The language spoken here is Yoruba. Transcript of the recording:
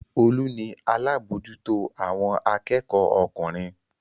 Olú ni alábòójútó àwọn akẹ́kọ̀ọ́ ọkùnrin.